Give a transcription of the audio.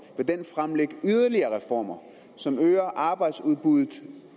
fremlægge yderligere reformer som øger arbejdsudbuddet